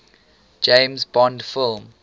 james bond film